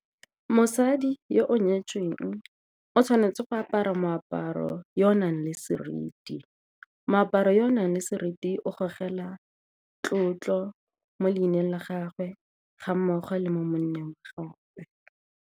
Mosadi yo o nyetsweng o tshwanetse go apara moaparo yo o nang le seriti, moaparo yo o nang le seriti o gogela tlotlo mo leineng la gagwe, ga mmogo le mo monneng gape.